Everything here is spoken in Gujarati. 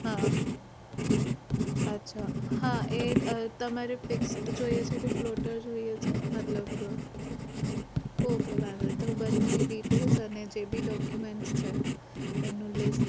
હા અચ્છા હા એ તમારે fix જોઈએ છે કે floter જોઈએ છે મતલબ okay વાંધો નહિ હું બન્નેની details અને જે ભી document છે એનું list